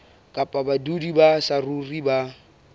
kapa badudi ba saruri ba